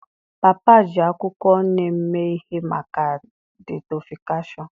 Papa ji akwụkwọ Neem mee ihe maka detoksịfikashiọn.